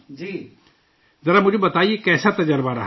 ذرا مجھے بتائیے، کیسا تجربہ رہا؟